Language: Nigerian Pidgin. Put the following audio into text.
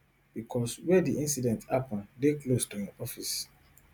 becos wia di incident happun dey close to im office